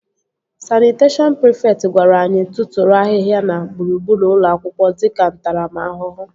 Sanịteshọn prịfekt gwara anyị tụtụrụ ahịhịa na gburugburu ụlọ akwụkwọ dịka ntaramahụhụ